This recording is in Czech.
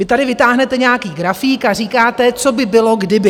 Vy tady vytáhnete nějaký grafík a říkáte, co by bylo, kdyby.